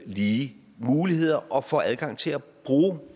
lige muligheder og får adgang til at bruge